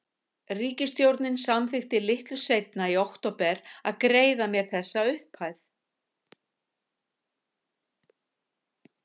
Ríkisstjórnin samþykkti litlu seinna, í október, að greiða mér þessa upphæð.